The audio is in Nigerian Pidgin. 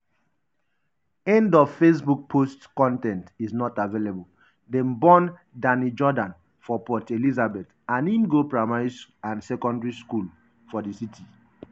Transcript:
end of facebook post con ten t is not available dem born danny jordaan for port elizabeth and im go primary and secondary school for di city.